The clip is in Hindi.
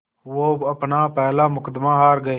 वो अपना पहला मुक़दमा हार गए